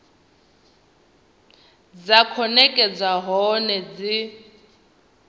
dza khou nekedzwa hone dzi